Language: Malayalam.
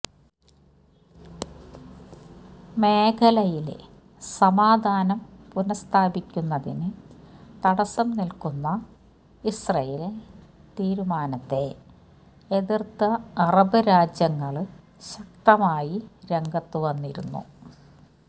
മേഖലയിലെ സമാധാനം പുനസ്ഥാപിക്കുന്നതിന് തടസം നില്ക്കുന്ന ഇസ്രയേല് തിരുമാനത്തെ എതിര്ത്ത് അറബ് രാജ്യങ്ങള് ശക്തമായി രംഗത്ത് വന്നിരുന്നു